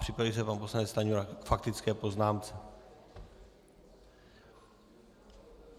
Připraví se pan poslanec Stanjura k faktické poznámce.